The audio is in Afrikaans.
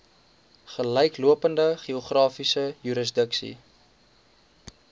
gelyklopende geografiese jurisdiksie